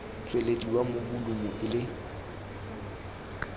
tswelediwa mo bolumu e le